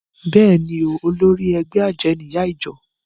Bẹ́ẹ̀ni o, olórí ẹgbẹ́ àjẹ́ ni ìyá ìjọ